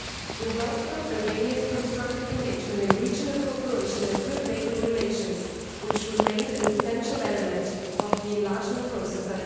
We welcome Albania's constructive engagement in regional cooperation and good neighbourly relations, which remain an essential element of the enlargement process.